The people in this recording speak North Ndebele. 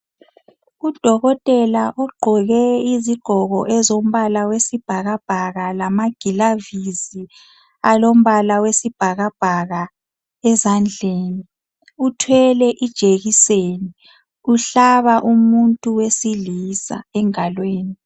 Udokotela ugqoke izigqoko ezombala wesibhakabhaka lamagilavisi alombala wesibhakabhaka ezandleni. Uthwele ijekiseni uhlaba umuntu wesilisa engalweni.